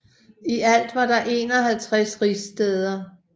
I alt var der 51 rigsstæder